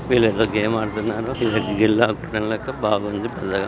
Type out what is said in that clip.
వీళ్ళంతా గేమ్ ఆడుతున్నారు చూడనికి బాగుంది భల్లేగా.